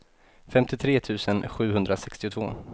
femtiotre tusen sjuhundrasextiotvå